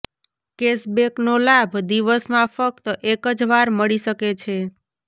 કેશબેકનો લાભ દિવસમાં ફક્ત એક જ વાર મળી શકે છે